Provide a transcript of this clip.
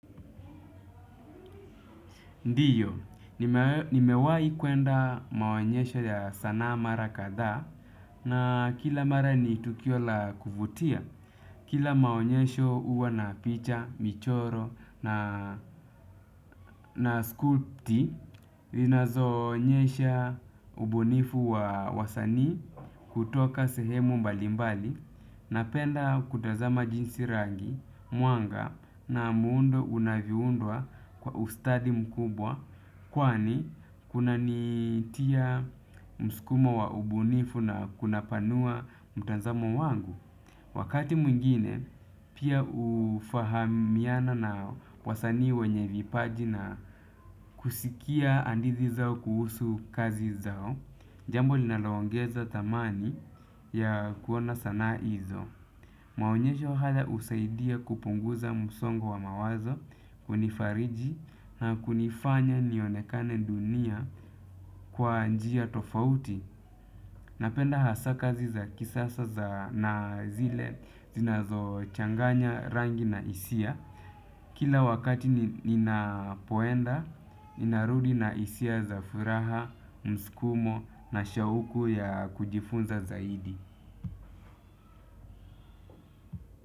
Ndiyo, nimewahi kuenda maonyesho ya sanaa mara kadha na kila mara ni tukio la kuvutia. Kila maonyesho huwa na picha, michoro na skupti, zinazo onyesha ubunifu wa wasani kutoka sehemu mbalimbali napenda kutazama jinsi rangi, mwanga na muundo unavyoundwa kwa ustadi mkubwa kwani, kuna nitia mskumo wa ubunifu na kuna panua mtazamo wangu. Wakati mwingine, pia ufahamiana na wasanii wenye vipaji na kusikia hadithi zao kuhusu kazi zao. Jambo linaloongeza thamani ya kuona sana hizo. Maonyesho haya husaidia kupunguza msongo wa mawazo. Kunifariji na kunifanya nionekane dunia kwa njia tofauti. Napenda hasa kazi za kisasa za na zile zinazo changanya rangi na hisia. Kila wakati ninapoenda, ninarudi na hisia za furaha, msukumo na shauku ya kujifunza zaidi.